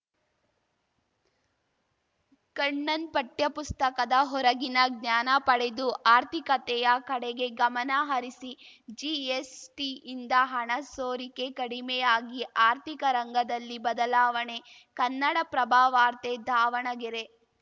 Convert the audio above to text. ಕಣ್ಣನ್‌ ಪಠ್ಯಪುಸ್ತಕದ ಹೊರಗಿನ ಜ್ಞಾನ ಪಡೆದು ಆರ್ಥಿಕತೆಯ ಕಡೆಗೆ ಗಮನ ಹರಿಸಿ ಜಿಎಸ್‌ಟಿಯಿಂದ ಹಣ ಸೋರಿಕೆ ಕಡಿಮೆಯಾಗಿ ಆರ್ಥಿಕ ರಂಗದಲ್ಲಿ ಬದಲಾವಣೆ ಕನ್ನಡಪ್ರಭವಾರ್ತೆ ದಾವಣಗೆರೆ